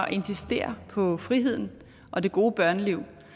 at insistere på friheden og det gode børneliv